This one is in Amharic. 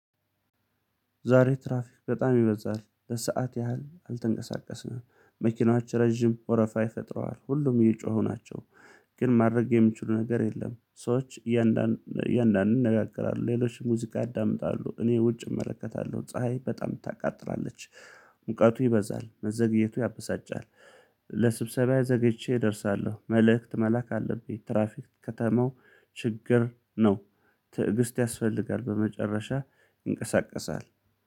ዛሬ ትራፊክ በጣም ይበዛል ለሰአት ያህል አልተንቀሳቀስንም መኪናዎች ረጅም ወረፋ ፈጥረዋል ሁሉም እየጮሁ ናቸው። ግን ማድረግ የሚችሉት ነገር የለም። ሰዎች እያንዳንዱን ይነጋገራሉ ሌሎች ሙዚቃ ያዳምጣሉ። እኔ ውጭ እመለከታለሁ ፀሀይ በጣም ታቃጥራለች። ሙቀቱ ይበዛል መዘግየቱ ያበሳጫል። ለስብሰባዬ ዘግይቼ እደርሳለሁ መልእክት መላክ አለብኝ። ትራፊክ ከተማው ችግር ነው። ትዕግስት ያስፈልጋል በመጨረሻ ይንቀሳቀሳል።